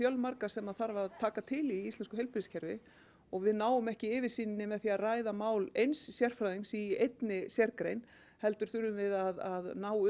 fjölmarga sem þarf að taka til í í íslensku heilbrigðiskerfi og við náum ekki yfirsýn með því að ræða mál eins sérfræðings í einni sérgrein heldur þurfum við að ná